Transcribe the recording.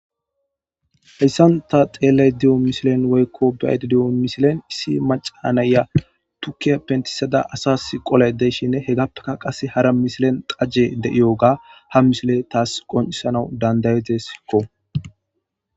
Haysan ta xelayda de'iyo misilen woyko be'ayda diyo misilen issi macanaya tukiya pentisada asas qolayda de'ishn , hegappeka Qase hara misilen xajey de'iyoga ha misiley tas qoncisanas dandayidesko.